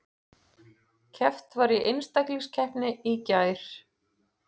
Keppt var í einstaklingskeppni í gær